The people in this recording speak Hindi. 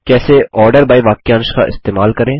कैसे आर्डर बाय वाक्यांश का इस्तेमाल करें